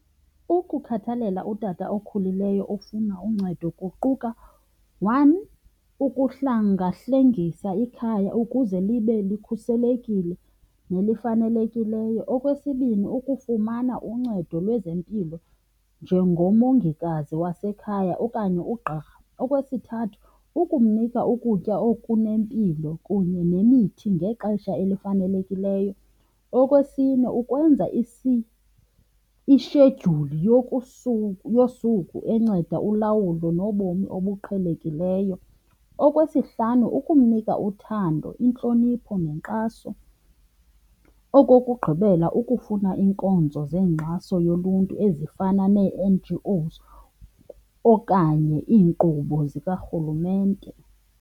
Ukukhathalela utata okhulileyo ofuna uncedo kuquka, one, ukuhlangahlengisa ikhaya ukuze libe likhuselekile nelifanelekileyo. Okwesibini, ukufumana uncedo lwezempilo njengomongikazi wasekhaya okanye ugqirha. Okwesithathu, ukumnika ukutya okunempilo kunye nemithi ngexesha elifanelekileyo. Okwesine, ukwenza ishedyuli yosuku enceda ulawulo nobomi obuqhelekileyo. Okwesihlanu, ukumnika uthando, intlonipho nenkxaso. Okokugqibela, ukufuna iinkonzo zenkxaso yoluntu ezifana nee-N_G_Os okanye iinkqubo zikarhulumente.